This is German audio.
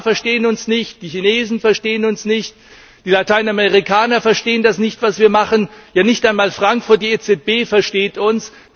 Die USA verstehen uns nicht, die Chinesen verstehen uns nicht, die Lateinamerikaner verstehen das nicht, was wir machen, ja nicht einmal Frankfurt, die EZB, versteht uns.